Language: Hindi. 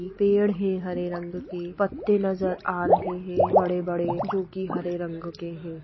ये पेड़ है हरे रंग के पत्ते नजर आ रहे हैं बड़े-बड़े जो की हरे रंग के हैं।